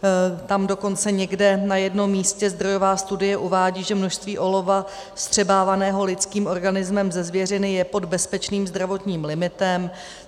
Tam dokonce někde, na jednom místě, zdrojová studie uvádí, že množství olova vstřebávaného lidským organismem ze zvěřiny je pod bezpečným zdravotním limitem.